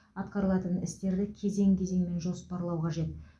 атқарылатын істерді кезең кезеңмен жоспарлау қажет